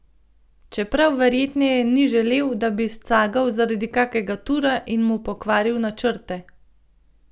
Čeprav verjetneje ni želel, da bi scagal zaradi kakega tura in mu pokvaril načrte.